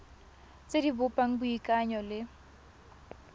tse di bopang boikanyo le